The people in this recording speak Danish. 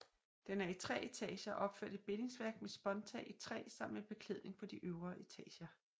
Den er i tre etager og opført i bindingsværk med spåntag i træ samt med beklædning på de øvre etager